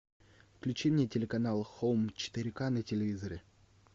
включи мне телеканал хоум четыре к на телевизоре